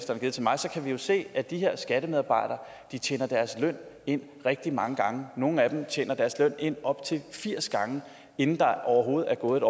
vi jo se at de her skattemedarbejdere tjener deres løn ind rigtig mange gange nogle af dem tjener deres løn ind op til firs gange inden der overhovedet er gået